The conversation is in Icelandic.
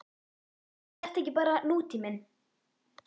Er þetta ekki bara nútíminn?